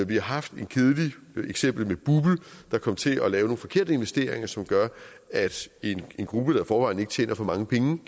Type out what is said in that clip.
vi har haft et kedeligt eksempel med bupl der kom til at lave nogle forkerte investeringer som gør at en gruppe der i forvejen ikke tjener for mange penge